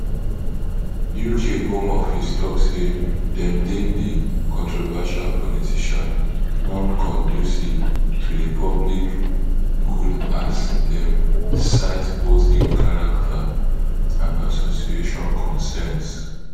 uk home office tok say dem deem di controversial politician nonconducive to di public good as dem cite both im character and association concerns